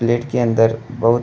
plate के अंदर बहुत --